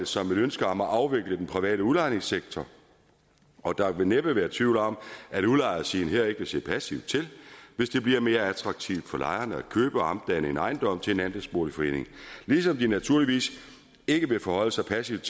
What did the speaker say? som et ønske om at afvikle den private udlejningssektor og der vil næppe være tvivl om at udlejersiden her ikke vil se passivt til hvis det bliver mere attraktivt for lejerne at købe og omdanne en ejendom til en andelsboligforening ligesom de naturligvis ikke vil forholde sig passivt